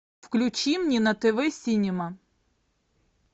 включи мне на тв синема